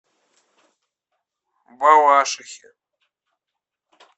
балашихе